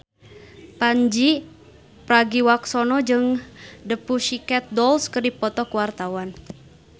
Pandji Pragiwaksono jeung The Pussycat Dolls keur dipoto ku wartawan